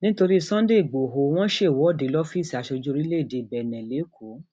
nítorí sunday igboro wọn ṣèwọde lọfíìsì aṣojú orílẹèdè bẹńẹ lẹkọọ